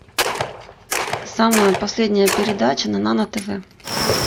самая последняя передача на нано тв